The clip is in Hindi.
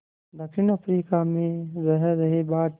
दक्षिण अफ्रीका में रह रहे भारतीयों